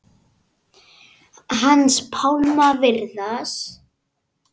Hans Pálma Viðars.